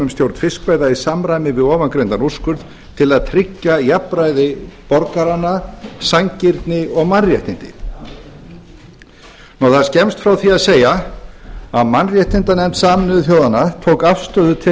um stjórn fiskveiða í samræmi við ofangreindan úrskurð til að tryggja jafnræði borgaranna sanngirni og mannréttindi það er skemmst frá því að segja að mannréttindanefnd sameinuðu þjóðanna tók afstöðu til